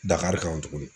Dakari kan tuguni